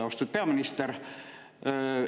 Austatud peaminister!